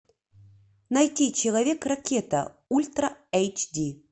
найти человек ракета ультра эйч ди